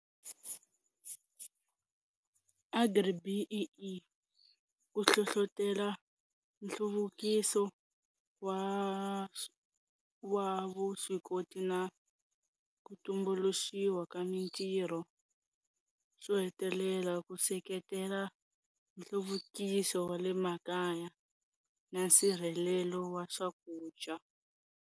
Agri-B_E_E ku hlohloteloa nhluvukiso wa wa vuswikoti na ku tumbuluxiwa ka mintirho, swo hetelela ku seketela nhluvukiso wa le makaya na nsirhelelo wa swakudya.